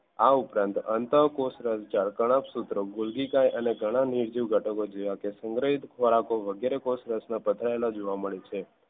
આ ઉપરાંત અંતઃકોષરસજાળ કણાભસુત્રો ગોલ્ગીકાય અને ગણાં નિર્જીવ ઘટકો જોયા સંગ્રહિત વગેરે પથરાયેલાં જોવા મળે છે.